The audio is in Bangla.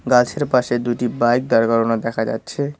গাছের পাশে দুইটি বাইক দাঁড় করানো দেখা যাচ্ছে।